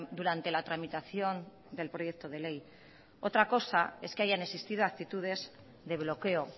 durante la tramitación del proyecto de ley otra cosa es que hayan existido actitudes de bloqueo